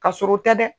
Ka sɔrɔ o tɛ dɛ